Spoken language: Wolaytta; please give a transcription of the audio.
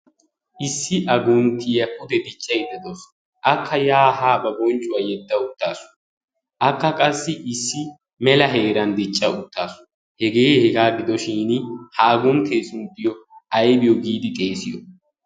Issi agunttiya pude diccayda dawusu. Akka yaa haa ba bonccuwa yedda uttaasu. Akka qassi issi mela heeran dicca uttaasu. Hegee hegaa gidoshiini ha agunttee sunttiyo ayba giidi xeesiyo?